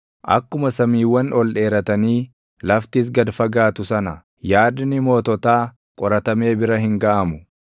Akkuma samiiwwan ol dheeratanii laftis gad fagaatu sana, yaadni moototaa qoratamee bira hin gaʼamu.